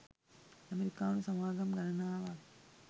අමෙරිකානු සමාගම් ගණනාවක්